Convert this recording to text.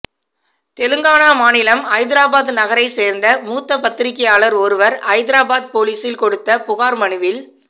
தெலுங்கானா மாநிலம் ஐதராபாத் நகரைச் சேர்ந்த மூத்த பத்திரிகையாளர் ஒருவர் ஐ தாராபாத் போலீசில் கொடுத்த புகார் மனுவில்